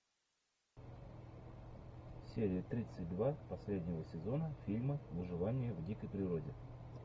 серия тридцать два последнего сезона фильма выживание в дикой природе